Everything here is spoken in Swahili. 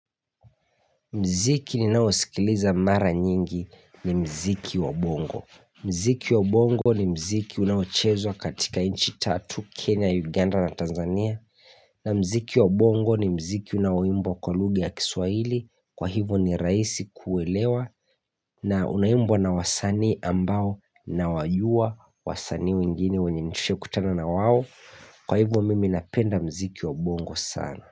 Mziki ninao sikiliza mara nyingi ni mziki wa bongo. Mziki wa bongo ni mziki unaochezwa katika nchi tatu Kenya, Uganda na Tanzania. Na mziki wa bongo ni mziki unaoimbwa kwa lugha ya kiswaili kwahivo ni rahisi kuelewa na unaimbwa na wasanii ambao nawajua wasanii wengine wenye nishahikutana na wao kwa hivo mimi napenda mziki wa bongo sana.